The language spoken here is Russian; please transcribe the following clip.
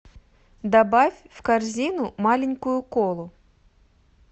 добавь в корзину маленькую колу